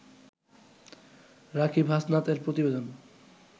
রাকিব হাসনাত-এর প্রতিবেদন